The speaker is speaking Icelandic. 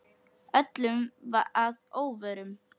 Öllum að óvörum.